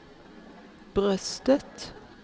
bröstet